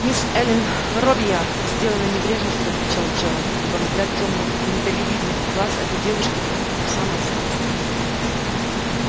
мисс эллин робийяр сделана небрежностью отвечал джералд ибо взгляд тёмных миндалевидных глаз этой девушки проник ему в самое сердце